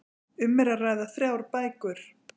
Um er að ræða þrjár bækur